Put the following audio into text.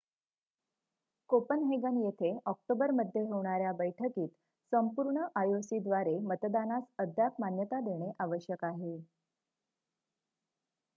Copenhagen येथे ऑक्टोबरमध्ये होणाऱ्या बैठकीत संपूर्ण आयओसीद्वारे मतदानास अद्याप मान्यता देणे आवश्यक आहे